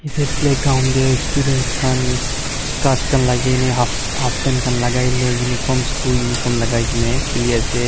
Ete play ground dae students khan skirts khan lageneh half half pant khan lagaineh uniform school uniform lagaikeneh khele ase.